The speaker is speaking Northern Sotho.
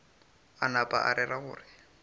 a napa a rera gore